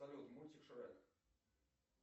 салют мультик шрек